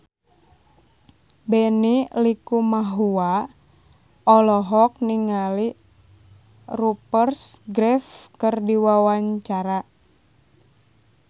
Benny Likumahua olohok ningali Rupert Graves keur diwawancara